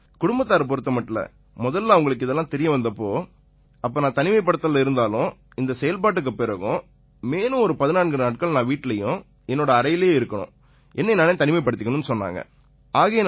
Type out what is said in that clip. குடும்பத்தாரைப் பொறுத்தமட்டில முதல்ல அவங்களுக்கு இது பத்தி எல்லாம் தெரியவந்த போது அப்ப நான் தனிமைப்படுத்தல்ல இருந்தாலும் இந்தச் செயல்பாட்டுக்குப் பிறகும் மேலும் ஒரு 14 நாட்கள் நான் வீட்டிலயும் என்னோட அறையிலேயே இருக்கணும் என்னை நானே தனிமைப்படுத்திக்கணும்னு சொன்னாங்க